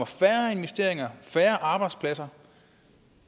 færre investeringer og færre arbejdspladser